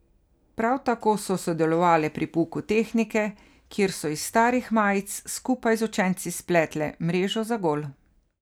Prav tako so sodelovale pri pouku tehnike, kjer so iz starih majic skupaj z učenci spletle mrežo za gol.